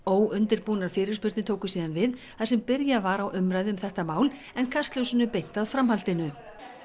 óundirbúnar fyrirspurnir tóku síðan við þar sem byrjað var á umræðu um þetta mál en kastljósinu beint að framhaldinu